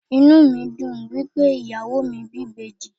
Inú mi dùn wípé ìyàwó mi bí ìbejì.